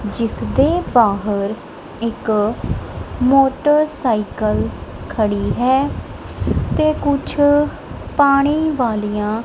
ਜਿਸ ਦੇ ਬਾਹਰ ਇੱਕ ਮੋਟਰਸਾਈਕਲ ਖੜੀ ਹੈ ਤੇ ਕੁਛ ਪਾਣੀ ਵਾਲੀਆਂ--